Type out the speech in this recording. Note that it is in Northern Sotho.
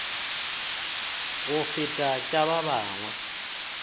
go feta tša ba bangwe